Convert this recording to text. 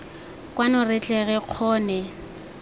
kwano re tle re kgone